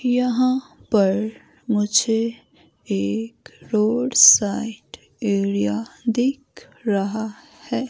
यहां पर मुझे एक रोड साइड एरिया दिख रहा है।